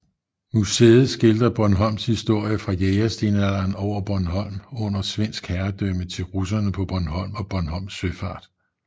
Museet skildrer Bornholms historie fra jægerstenalderen over Bornholm under svensk herredømme til russerne på Bornholm og Bornholms søfart